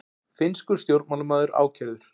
Finnskur stjórnmálamaður ákærður